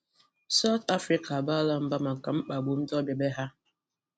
South Africa abaala mba maka mkpagbu ndị ọbịa be ha